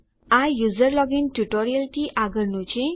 આ user login ટ્યુટોરીયલથી આગળનું છે